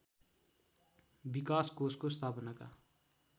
विकास कोषको स्थापनाका